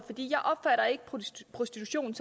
prostitution